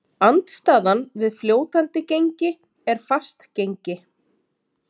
Andstaðan við fljótandi gengi er fast gengi.